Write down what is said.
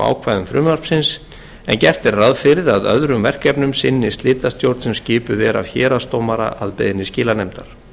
ákvæðum frumvarpsins en gert er ráð fyrir að öðrum verkefnum sinni slitastjórn sem skipuð er af héraðsdómara að beiðni skilanefndar